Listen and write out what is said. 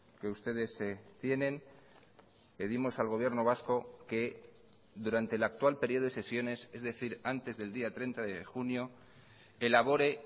que ustedes tienen pedimos al gobierno vasco que durante el actual periodo de sesiones es decir antes del día treinta de junio elabore